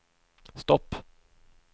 stopp